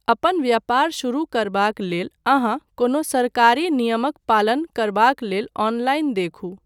अपन व्यापार शुरू करबाक लेल अहाँ कोनो सरकारी नियमक पालन करबाक लेल ऑनलाइन देखू।